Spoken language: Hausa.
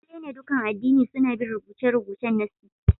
Lalle ne, dukan addini suna bin rubuce-rubucen nassi